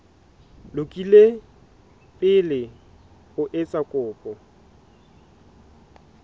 lokile pele o etsa kopo